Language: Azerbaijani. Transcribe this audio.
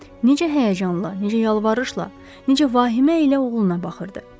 Necə həyəcanla, necə yalvarışla, necə vahimə ilə oğluna baxırdı.